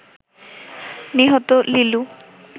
নিহত লিলু